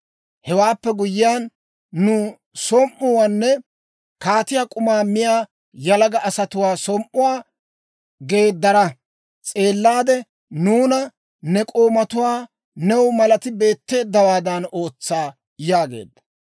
Hewaappe guyyiyaan, nu som"uwaanne kaatiyaa k'umaa miyaa yalaga asatuwaa som"uwaa geedara s'eellaade, nuuna ne k'oomatuwaa new malati beetteeddawaadan ootsa» yaageedda.